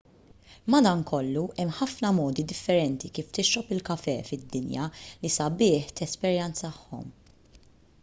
madankollu hemm ħafna modi differenti kif tixrob il-kafè fid-dinja li sabiħ tesperjenzahom